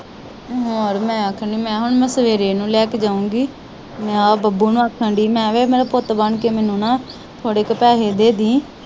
ਹੋਰ ਮੈ ਆਖਣ ਦੀ ਮੈ ਕਿਹਾ ਹੁਣ ਮੈ ਸਵੇਰੇ ਇਹਨੂੰ ਲੈ ਕੇ ਜਾਊਗੀ ਮੈ ਆ ਬੱਬੂ ਨੂੰ ਆਖਣ ਦੀ ਮੈ ਕਿਹਾ ਵੇ ਮੇਰਾ ਪੁੱਤ ਬਣਕੇ ਮੈਨੂੰ ਨਾ ਥੋੜੇ ਕਾ ਪੈਸੇ ਦੇ ਦੇਂਦੀ।